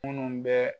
Munnu bɛ